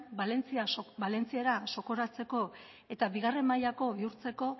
valentziera zokoratzeko eta bigaren mailako bihurtzeko